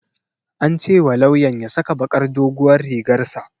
An ce wa lawyan ya saka bakar doguwar rigar sa